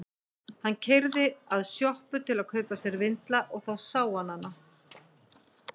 Hann keyrði að sjoppu til að kaupa sér vindla og þá sá ég hana.